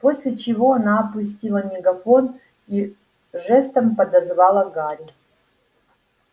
после чего она опустила мегафон и жестом подозвала гарри